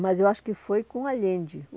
Mas eu acho que foi com o Allende.